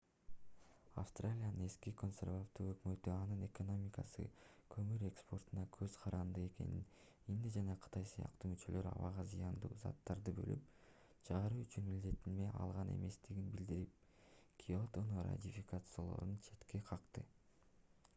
австралиянын эски консервативдүү өкмөтү анын экономикасы көмүр экспортунан көз каранды экенин индия жана кытай сыяктуу мүчөлөр абага зыяндуу заттарды бөлүп чыгаруу боюнча милдеттенме алган эместигин билдирип киотону ратификациялоону четке какты